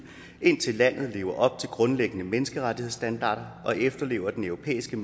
indtil landet lever op til grundlæggende menneskerettighedsstandarder og efterlever den europæiske